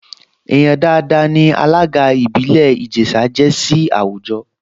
Èèyàn dáadáa ní alága ìbílẹ̀ Ìjẹ̀ṣà jẹ́ sí àwùjọ